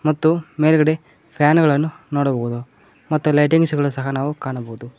ಮತ್ತು ಮೇಲ್ಗಡೆ ಫ್ಯಾನ್ ಗಳನ್ನು ನೋಡಬಹುದು ಮತ್ತು ಲೈಟಿಂಗ್ಸ್ ಗಳು ಸಹ ನಾವು ಕಾಣಬಹುದು.